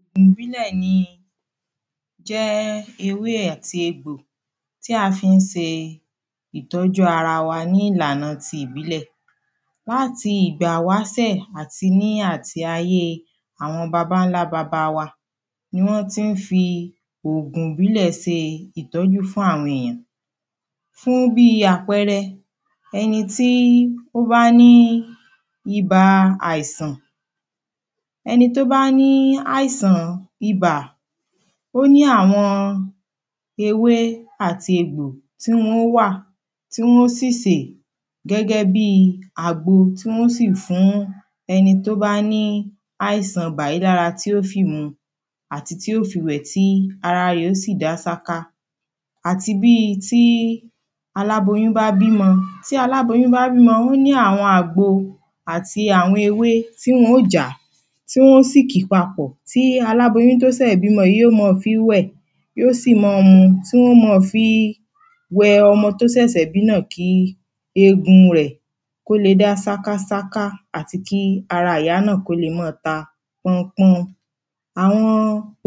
ògùn ìbílẹ̀ ni, jẹ́ ewé àti egbò tí a fi ń se ìtọ́jú ara wa ní ìlànà ti ìbílẹ̀ láti ìgbà ìwásẹ̀ àti ní àti ayé àwọn babańlábaba wa ni wọ́n ti ń fi ògùn ìbílẹ̀ se ìtọ́jú fún àwọn ènìyàn fún bíi àpẹrẹ, ẹni tí ó bá ní bíi ibà àìsàn ẹni tó bá ní àìsàn ibà, ó ní àwọn ewé àti egbò tí wọn ó wà tí wọn ó sì sè gẹ́gẹ́bíi àgbo, tí wọn ó sì fún ẹni tó bá ní àìsàn ibà yìí lára tí ó fì mu àti tí ó fi wẹ̀ tí ara rẹ̀ yóò sì dá sáká àti bíi aláboyún bá bímọ, tí aláboyún bá bímọ, ó ní àwọn àgbo àti àwọn ewé tí wọn ó jàá tí wọ́n ó sì kì papọ̀. tí aláboyún tí ó sẹ̀ bímọ yìí, yóò máa fíí wẹ̀. tí ó sì máa mu, tí wọ́n ó máa fí wẹ ọmọ tó sẹ̀sẹ̀ bí náà kí egun rẹ̀ kó le dá sákásáká àti kí ara ìyá náà kó le máa ta pọ́húnpọ́hún àwọn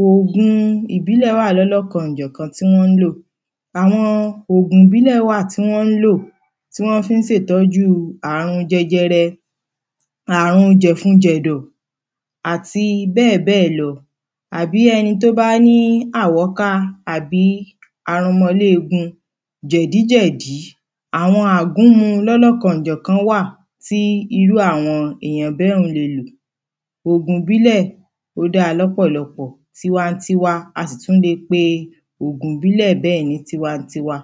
ògun ìbílẹ̀ wà lọ́lọ́kanjọ̀kan tí wọ́n ń lò àwọn ògun ìbílẹ̀ wà tí wọ́n ń lò, tí wọ́n fi ń se ìtọ́jú àrun jẹjẹrẹ àrun jẹ̀funjẹ̀dọ̀ àti bẹ́ẹ̀bẹ́ẹ̀ lọ. àbí ẹni tó bá ní àwọ́ká àbí arọmọléegun jẹ̀díjẹ̀dí àwọn àgúnmu lọ́lọ́kanjọ̀kan wà tí irú àwọn èyàn bẹ́hùn-ún le lò ògun ìbílẹ̀, ó dáa lọ́pọ̀lọ́pọ̀ tiwantiwa. a sì tún le pé ògùn ìbílẹ̀ bẹ́ẹ̀ ní tiwantiwa